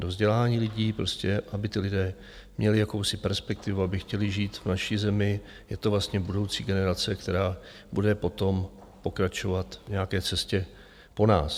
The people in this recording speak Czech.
Do vzdělání lidí, prostě aby ti lidé měli jakousi perspektivu, aby chtěli žít v naší zemi, je to vlastně budoucí generace, která bude potom pokračovat v nějaké cestě po nás.